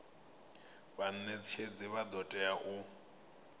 vhanetshedzi vha do tea u